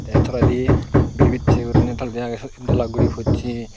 the toledi bir biche guriney toledi age sut ed dola guri pochi.